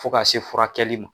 Fo ka se furakɛli ma